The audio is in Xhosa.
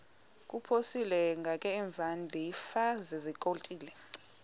kuphosiliso kwangaemva ndafikezizikotile